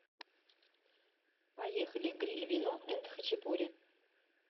поехали гриль вино энд хачапури